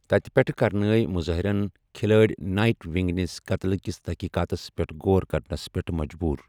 تتہِ پیٹھٕ کرنٲوۍ مظٲہرَن کھلاڑۍ نایٹ ونگ نِس قتلکس تحقیقاتس پیٹھ غور کرنَس پیٹھ مجبوٗر۔